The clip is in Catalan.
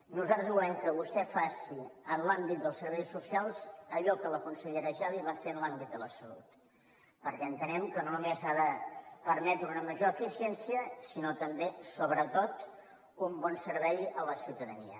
nosaltres volem que vostè faci en l’àmbit dels serveis socials allò que la consellera geli va fer en l’àmbit de la salut perquè entenem que no només ha de permetre una major eficiència sinó també sobretot un bon servei a la ciutadania